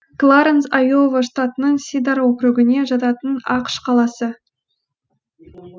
кларэнс айова штатының сидар округіне жататын ақш қаласы